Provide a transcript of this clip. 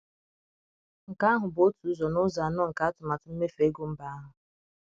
Nke ahụ bụ otu ụzọ n’ụzọ anọ nke atụmatụ mmefu ego mba ahụ!